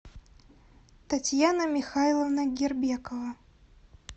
татьяна михайловна гербекова